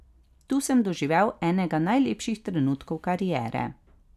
Tu sem doživel enega najlepših trenutkov kariere.